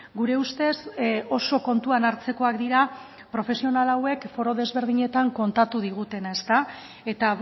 gure ustez oso kontuan hartzekoak dira profesional hauek foro desberdinetan kontatu digutena eta